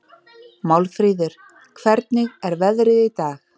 Málfríður, hvernig er veðrið í dag?